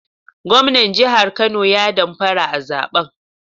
Gwamnan jihar Kano ya damfara a zaben